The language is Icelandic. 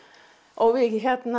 og við